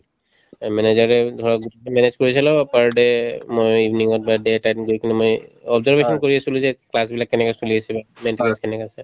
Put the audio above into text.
এই মানে যেনেকে ধৰক manage কৰিছিলো per day মই evening ত বা day এটা দিন গৈ কিনে মই observation কৰি আছিলো যে class বিলাক কেনেকে চলি আছিলে maintenance কেনেকা আছে